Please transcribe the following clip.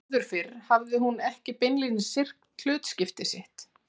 Áður fyrr hafði hún ekki beinlínis syrgt hlutskipti sitt.